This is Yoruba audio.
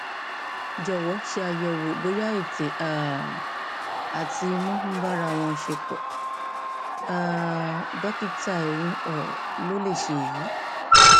jọwọ ṣàyẹwò bóyá ètè um àti imú ń bára wọn ṣepọ um dókítà eyín um ló lè ṣe èyí